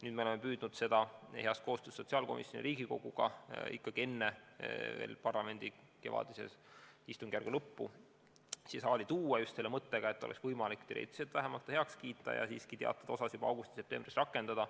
Nüüd me oleme püüdnud seda heas koostöös sotsiaalkomisjoni ja kogu Riigikoguga veel enne parlamendi kevadistungjärgu lõppu siia saali tuua just selle mõttega, et oleks võimalik teoreetiliselt ta vähemalt heaks kiita ja teatud osi juba augustis-septembris rakendada.